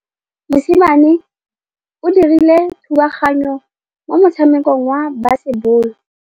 Mosimane o dirile thubaganyô mo motshamekong wa basebôlô.